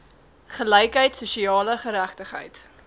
gelykheid sosiale geregtigheid